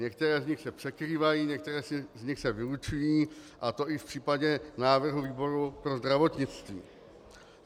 Některé z nich se překrývají, některé z nich se vylučují, a to i v případě návrhu výboru pro zdravotnictví.